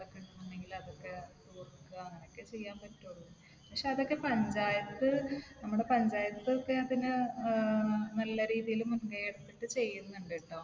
ഒക്കെ ഉണ്ടെങ്കിൽ അതൊക്കെ . അങ്ങനെയൊക്കെ ചെയ്യാൻ പറ്റൊള്ളൂ. പക്ഷെ അതൊക്കെ പഞ്ചായത്ത് നമ്മുടെ പഞ്ചായത്തൊക്കെ പിന്നെ ഏർ നല്ല രീതിയിൽ മുൻകൈ എടുത്തിട്ട് ചെയ്യുന്നുണ്ടെട്ടോ.